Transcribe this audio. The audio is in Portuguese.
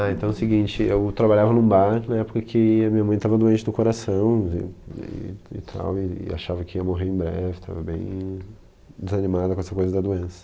Ah, então é o seguinte, eu trabalhava num bar na época em que a minha mãe estava doente no coração e e e tal, e achava que ia morrer em breve, estava bem desanimada com essa coisa da doença.